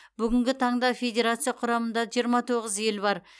бүгінгі таңда федерация құрамында жиырма тоғыз ел бар